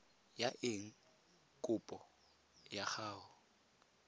ya eng kopo ya gago